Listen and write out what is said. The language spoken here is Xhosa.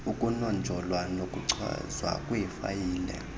ukunonjolwa nokuchazwa kweefayile